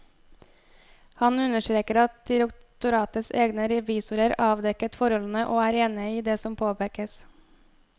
Han understreker at direktoratets egne revisoreravdekket forholdene og er enige i det som påpekes.